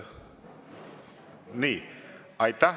Nii.